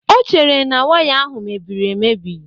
O chere na waya ahụ mebiri emebi.